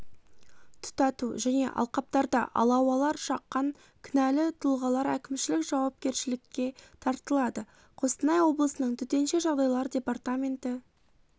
тұтату және алқаптарда алауалар жаққан кінәлі тұлғалар әкімшілік жауапкершілікке тартылады қостанай облысының төтенше жағдайлар департаменті